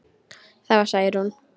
Það var Særún.